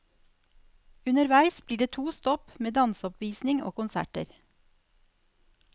Underveis blir det to stopp med danseoppvisning og konserter.